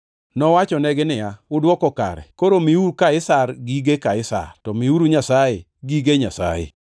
Nowachonegi niya, “Udwoko kare, koro miuru Kaisar gige Kaisar, to miuru Nyasaye gige Nyasaye.”